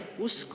Teie aeg!